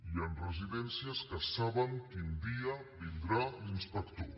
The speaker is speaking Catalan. hi han residències que saben quin dia vindrà l’inspector